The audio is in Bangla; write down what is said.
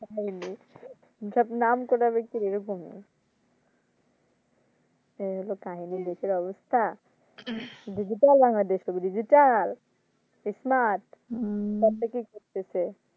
সব নামকরা ব্যাক্তি এইরকমই এই হলো কাহিনী লোকের অবস্থা DigitalBangladesh হবে Digital smart সবদিকেই ভুগতেছে